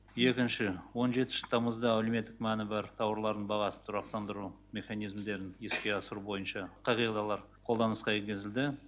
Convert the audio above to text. екінші он жетінші тамызда әлеуметтік мәні бар тауарлардың бағасын тұрақтандыру механизмдерін іске асыру бойынша қағидалар қолданысқа енгізілді